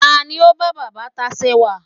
ta ni o ba baba tacewa